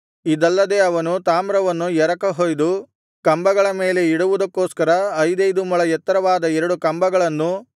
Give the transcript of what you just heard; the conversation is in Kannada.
ಇದಲ್ಲದೆ ಅವನು ತಾಮ್ರವನ್ನು ಎರಕ ಹೊಯ್ದು ಕಂಬಗಳ ಮೇಲೆ ಇಡುವುದಕ್ಕೊಸ್ಕರ ಐದೈದು ಮೊಳ ಎತ್ತರವಾದ ಎರಡು ಕುಂಭಗಳನ್ನೂ